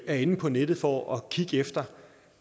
er inde på nettet for at kigge efter